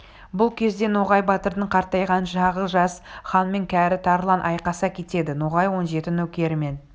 бұл кезде ноғай батырдың қартайған шағы жас ханмен кәрі тарлан айқаса кетеді ноғай он жеті нөкерімен